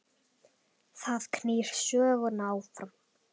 Það knýr söguna áfram